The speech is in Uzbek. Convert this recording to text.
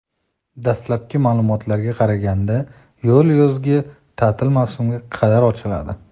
Dastlabki ma’lumotlarga qaraganda, yo‘l yozgi ta’til mavsumiga qadar ochiladi.